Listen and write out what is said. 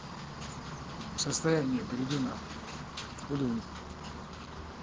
расстояние иди нахуй